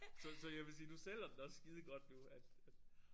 Så så jeg vil sige du sælger den også skidegodt nu at at